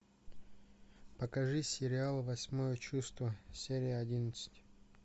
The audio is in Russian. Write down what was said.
покажи сериал восьмое чувство серия одиннадцать